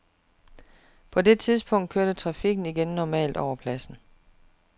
På det tidspunkt kørte trafikken igen normalt over pladsen.